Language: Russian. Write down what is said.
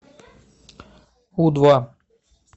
у два